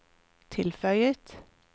tilføyet